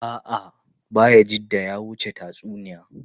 A’a, Bayajidda ya wuce tatsuniya.